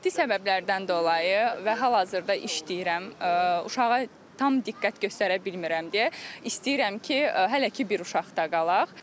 Maddi səbəblərdən dolayı və hal-hazırda işləyirəm, uşağa tam diqqət göstərə bilmirəm deyə istəyirəm ki, hələ ki bir uşaqla qalaq.